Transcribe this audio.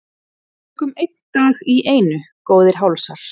Tökum einn dag í einu góðir hálsar.